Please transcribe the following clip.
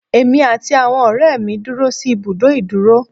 Èmi àti àwọn ọ̀rẹ́ mi dúró sí ìbùdó ìdúró.